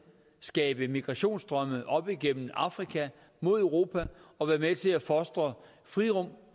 skabe migrationsstrømme op igennem afrika mod europa og være med til at fostre frirum